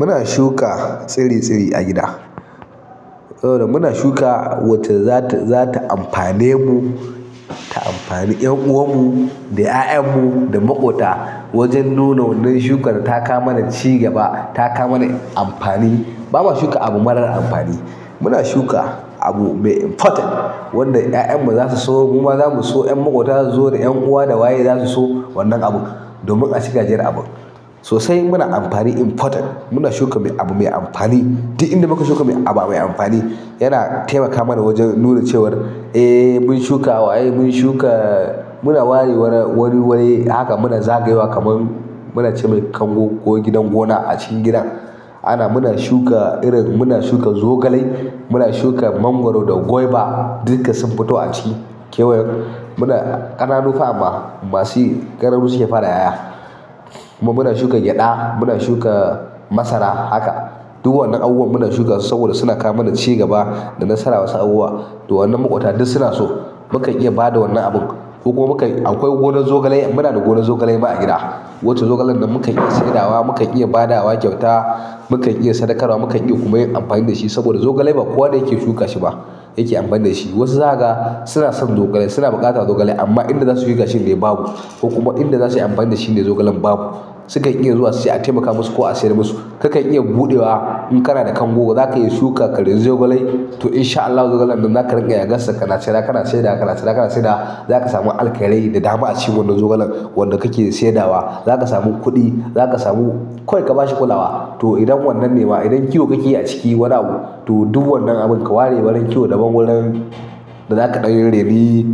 Muna shuka tsire-tsire a gida. Saboda muna shuka wacce zata zata amfane mu, ta amfane 'yan'uwan mu da 'ya'yan mu da makwafta wajen noma wannan shukar ta kawo mana cigaba ta kawo mana amfani ba mu shuka abu marar amfani ba, muna shuka abu mai important. Wanda 'ya'yan mu za su so, mu ma za mu so, 'yan maƙwabta za su zo, 'yan'uwa da waye zasu so wannan abu, domin a ci gajiyar abun. Sosai muna amfani important. Nuna shuka abu mai amfani duk inda muka shuka abu mai amfani yana taimaka mana waje nuna cewa eh mun shuka waye mun shuka muna ware wani wuri haka muna zagaye haka kamar kango ko gidan gona a cikin gidan ana muna shuka irin, muna shuka zogalai, muna shuka mangwaro da gwaiba. Dukka sun fito a ciki kewayen muna ƙananu fa amma masuyi ƙananu suke fara ƴaƴa. Kuma muna shuka gyaɗa, muna shuka masara. Haka. Duk wannan abubuwan muna shuka su saboda suna kawo mana cigaba da nasara wasu abubuwa. Wannan maƙota duk suna so. Mukan iya bada wannan abun ko kuma mukan akwai gonan zogale muna da gonar zogale ma a gida, wacce zogalan nan mukan iya saida wa, mu kan iya ba da wa kyauta, mu kan iya sadakarwa, mu kan iya kuma yin amfani da shi. Saboda zogale ba kowa ne yake shuka shi ba, yake amfani da shi. Wasu zaka ga suna son zogale suna buƙatar zogale amma inda za su shuka shin ne babu, ko kuma inda za su yi amfani da shi ne zogalan babu. Sukan iya zuwa su ce a taimaka musu ko a sayar musu. Kakan iya buɗe wa in kana da kango za ka iya suka karyo zogale, to insha allahu zogalen za ka ringa yagansa kana cira kana saida kana cira kana saida. Zaka sami alkairai da dama a cikin wannan zogalan wanda kake saida wa. Zaka samu kuɗi, za ka samu kawai ka ba shi kulawa. To idan wannan ne ma idan kiwo kake a ciki wani abu, to duk wannan abun ka ware warin kiwo daban wurin da zaka ɗan raini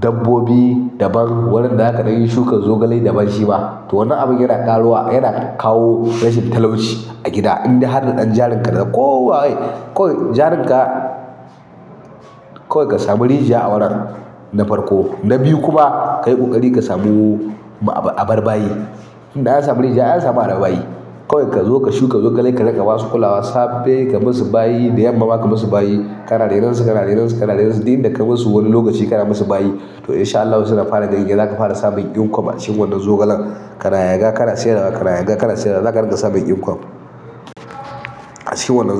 dabbobi daban, wurin da zaka ɗan yi shukan zogale daban shi ma. To wannan abun yana ƙaruwa, yana kawo rashin talauci a gida. Indai har da ɗan jarin ka na ko waye, kawai jarin ka kawai ka samu rijiya a wuran na farko, na biyu kuma kayi ƙoƙari ka samu ma aba- abar bayi. Tunda an samu rijiya an samu arha bayi. Kawai ka zo ka shuka zogale ka ringa ba su kulawa safe ka musu bayi, da yamma ma ka musu bayi. Kana rainonsu, kana rainonsu, kana rainonsu dai inda ka bar su wani lokaci kana musu bayi toh insha allahu suna fara ganye zaka fara samun income a cikin wannan zogalen, kana yaga kana siyarwa, kana yaga kana siyarwa, zaka ringa samun income a cikin wannan zogalen.